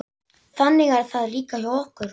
Þannig er það líka hjá okkur.